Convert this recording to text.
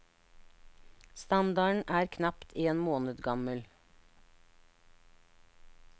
Standarden er knapt en måned gammel.